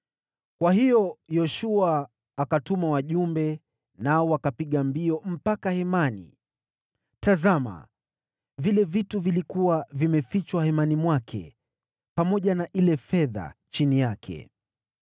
Kwa hiyo Yoshua akatuma wajumbe, nao wakapiga mbio mpaka hemani, tazama, vile vitu vilikuwa vimefichwa hemani mwake, pamoja na ile fedha chini yake.